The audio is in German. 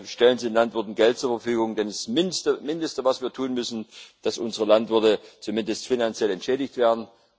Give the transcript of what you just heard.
Stellen Sie den Landwirten Geld zur Verfügung, denn das Mindeste, was wir tun müssen, ist, dass unsere Landwirte zumindest finanziell entschädigt werden.